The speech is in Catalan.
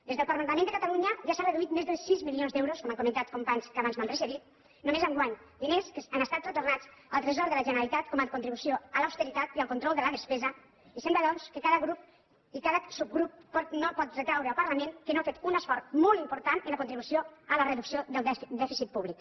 des del parlament de catalunya ja s’ha reduït més de sis milions d’euros com han comentat companys que abans m’han precedit només enguany diners que han estat retornats al tresor de la generalitat com a contribució a l’austeritat i al control de la despesa i sembla doncs que cada grup i cada subgrup no pot retreure al parlament que no ha fet un esforç molt important en la contribució a la reducció del dèficit públic